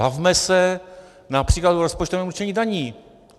Bavme se například o rozpočtovém určení daní.